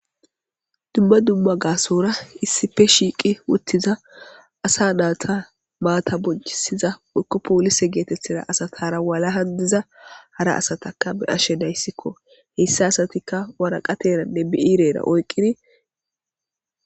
dumma dumma gaasora issipe shiiqi uttiza asa naata maata bonchisiza woykko polise geetethiza asatara walahan diza hara asataka be'ashe daysikko. Heyssa asatikka waraqateranne bi'irera oyqqiri